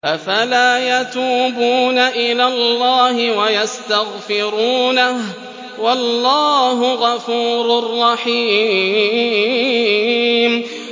أَفَلَا يَتُوبُونَ إِلَى اللَّهِ وَيَسْتَغْفِرُونَهُ ۚ وَاللَّهُ غَفُورٌ رَّحِيمٌ